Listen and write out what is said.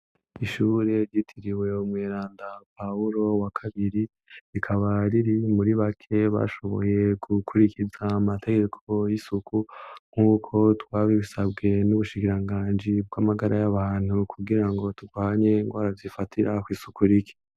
Ishure yitiriwe mwelanda pahulo wa kabiri rikabariri muri bake bashoboye gukurikiza amategeko y'isuku nk'uko twabibisabwe n'ubushigiranganji bw'amagara y'abantu kugira ngo tutwanye ngo arazifatirako isuku riki.